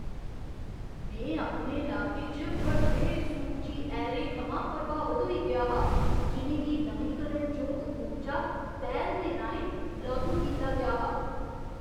में अपने लाके च बड्डे सूरजी ऐरें थमां प्रभावत होई गेआ हा जि'नें गी नमींकरणजोग ऊर्जा पैह्ल दे राहें लागू कीता गेआ हा।